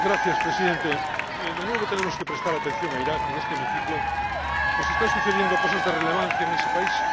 Señor Presidente, de nuevo tenemos que prestar atención a Irak en este hemiciclo, pues están sucediendo cosas de relevancia en ese país.